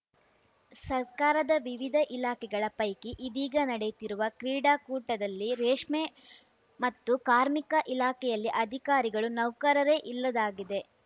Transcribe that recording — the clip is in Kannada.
ಸರ್ಕಾರದ ವಿವಿಧ ಇಲಾಖೆಗಳ ಪೈಕಿ ಇದೀಗ ನಡೆಯುತ್ತಿರುವ ಕ್ರೀಡಾಕೂಟದಲ್ಲಿ ರೇಷ್ಮೆ ಮತ್ತು ಕಾರ್ಮಿಕ ಇಲಾಖೆಯಲ್ಲಿ ಅಧಿಕಾರಿಗಳು ನೌಕರರೇ ಇಲ್ಲದಾಗಿದೆ